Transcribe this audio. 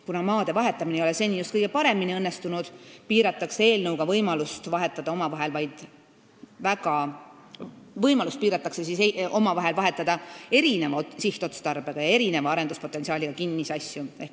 Kuna maade vahetamine ei ole seni just kõige paremini õnnestunud, piiratakse eelnõuga võimalust vahetada omavahel erineva sihtotstarbega ja erineva arenduspotentsiaaliga kinnisasju.